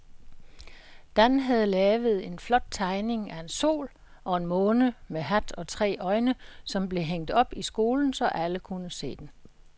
Dan havde lavet en flot tegning af en sol og en måne med hat og tre øjne, som blev hængt op i skolen, så alle kunne se den.